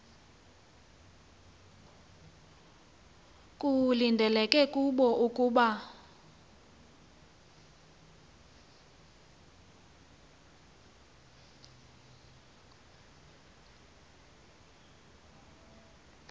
kulindeleke kubo ukuba